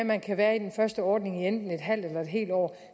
man kan være i den første ordning i enten et halvt eller et helt år